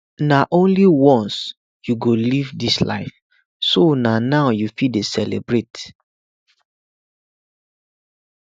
na only once you go live dis life so na now you fit celebrate